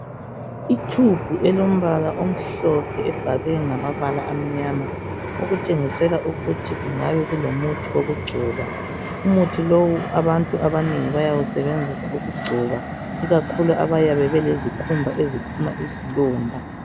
Itube elombala omhlophe ebhalwe ngamabala amnyama okutshengisela ukuthi kungabe kulomuthi wokugcoba umuthi lowu abantu abanengi bayayisebenzisa ikakhulu abayabe belezikhumba eziphuma izilonda.